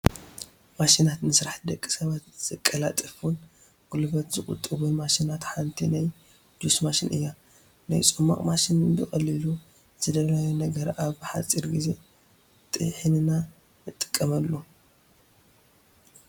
ማሽናት፡- ንስራሕቲ ደቂ ሰባት ዘቀላጥፉን ጉልበት ዝቑጡቡን ማሽናት ሓንቲ ናይ ጁስ ማሽን እያ፡፡ ናይ ፅሟቕ ማሽን ብቐሊሉ ዝደለናዮ ነገር ኣብ ሓፂር ጊዜ ጢሒንና ንጥቀመሉ፡፡